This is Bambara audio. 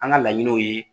An ka laɲiniw ye